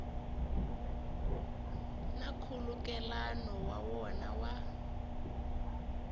na nkhulukelano wa wona wa